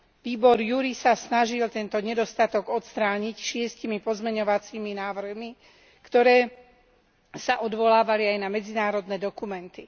Výbor JURI sa snažil tento nedostatok odstrániť šiestimi pozmeňovacími návrhmi, ktoré sa odvolávali aj na medzinárodné dokumenty.